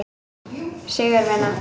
Sigurvina, hvernig er dagskráin í dag?